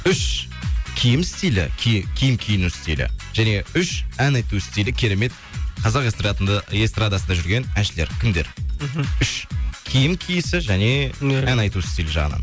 үш киім стилі киім киіну стилі және үш ән айту стилі керемет қазақ эстардасында жүрген әншілер кімдер мхм үш киім киісі және ән айту стилі жағынан